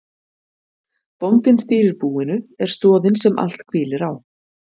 Bóndinn stýrir búinu, er stoðin sem allt hvílir á.